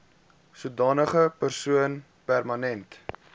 sodanige persoon permanent